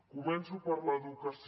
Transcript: començo per l’educació